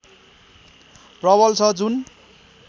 प्रबल छ जुन